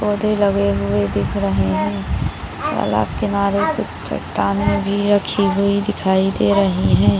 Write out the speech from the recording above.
पौधे लगे हुए दिख रहे हैं। अलग किनारे कुछ चट्टानें भी रखी हुई दिखाई दे रही हैं।